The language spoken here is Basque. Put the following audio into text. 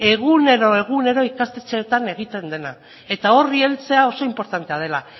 egunero ikastetxeetan egiten dena eta horri heltzea oso inportantea dela